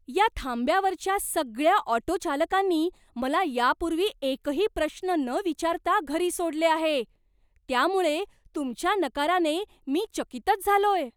या थांब्यावरच्या सगळ्या ऑटोचालकांनी मला या पूर्वी एकही प्रश्न न विचारता घरी सोडले आहे, त्यामुळे तुमच्या नकाराने मी चकितच झालोय!